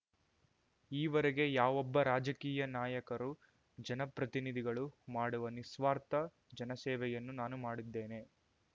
ಈವರೆಗೆ ಯಾವೊಬ್ಬ ರಾಜಕೀಯ ನಾಯಕರು ಜನಪ್ರತಿನಿಧಿಗಳು ಮಾಡುವ ನಿಸ್ವಾರ್ಥ ಜನಸೇವೆಯನ್ನು ನಾನು ಮಾಡಿದ್ದೇನೆ